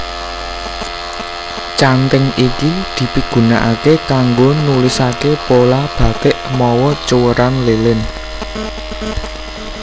Canthing iki dipigunakaké kanggo nulisaké pola bathik mawa cuwèran lilin